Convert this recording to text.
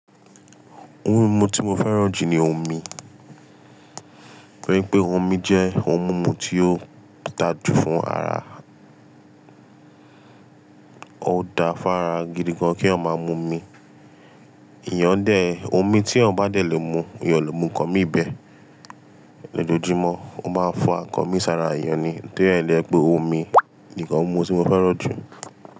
Oun mímu tí mo fẹ́ràn jù ni omi. Torí pé omi jẹ́ oun mímu tí o dáa jù fún ara. Ó da fún ara gidi gan kí èyàn máa mú mi. Iyán dé, omi tí èyàn bá dé lè mú, èyàn ò lè mú ǹkan mi bẹ. Lójojúmọ́, o máa ń fún nkàn mí sára èyàn ni. Torí ẹ́ ló jẹ́ pé omi ni kan ni oun mímu tí mo fẹ́ràn jù.